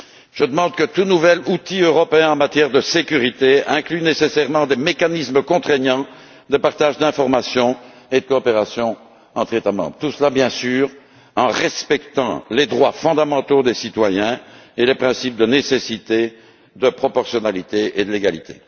Je demande que tout nouvel outil européen en matière de sécurité inclue nécessairement des mécanismes contraignants de partage d'informations et de coopération entre les États membres, tout cela, bien sûr, dans le respect des droits fondamentaux des citoyens et des principes de nécessité, de proportionnalité et de légalité.